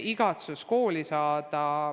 Igatsus kooli tagasi saada on suur.